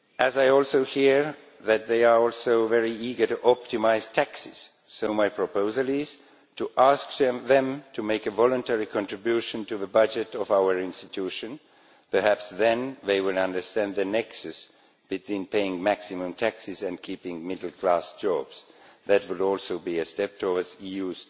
I also hear that they are also very eager to optimise taxes, so my proposal is to ask them to make a voluntary contribution to the budget of our institution perhaps then they will understand the nexus between paying maximum taxes and keeping middle-class jobs. That will also be a step towards the